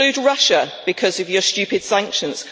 You exclude Russia because of your stupid sanctions.